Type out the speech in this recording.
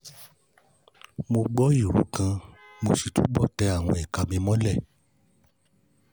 Mo gbọ́ ìró kan, mo sì túbọ̀ tẹ àwọn ìka mi mọ́lẹ̀